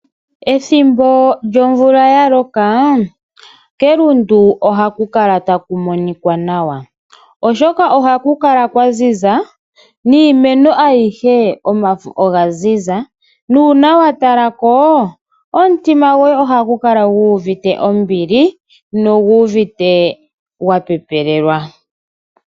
Ethimbo lyomvula ya loka kelundu ohaku kala taku monika nawa, oshoka ohaku kala kwaziza niimeno ayihe omafo oga zizia nuuna wa talako omutima goye ohagu kala guuvite ombili noguuvite wa pepelelwa.